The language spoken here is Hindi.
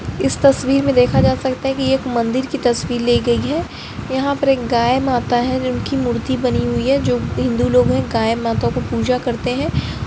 इस तस्वीर में देखा जा सकता है की ये एक मंदिर की तस्वीर ली गई है यहाँ पर एक गाय माता है जिनकी मूर्ती बनी हुई है जो हिंदू लोग है गाय माता को पूजा करते है।